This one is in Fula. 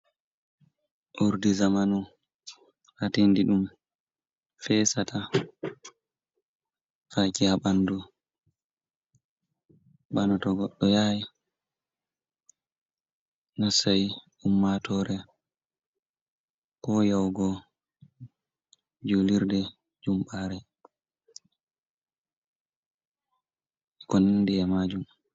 Urdi zamanu hatindi ɗum fesata faki ha ɓandu, bana to goɗɗo do yahai nasai ummatore, ko yahugo julurde jumbare ko nandi e majum.